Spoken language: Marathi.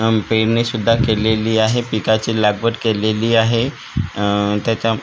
हम्म पेरणी सुद्धा केलेली आहे पिकाची लागवड केलेली आहे आह त्याच्या--